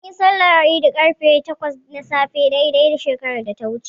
Munyi sallar Idi ƙarfe takwas na safe dai dai shekarar da ta wuce.